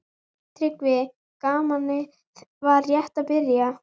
TRYGGVI: Gamanið var rétt að byrja.